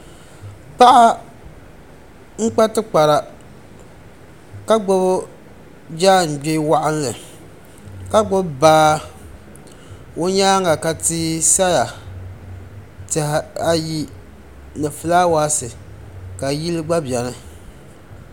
paɣa n-kpa tikpara ka gbubi jangbee waɣinli ka gbubi baa o nyaaga ka tia sa ya tiha ayi ni fulaawasi ka yili gba beni.